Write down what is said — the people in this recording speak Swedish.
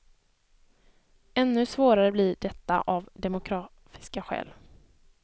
Ännu svårare blir detta av demografiska skäl.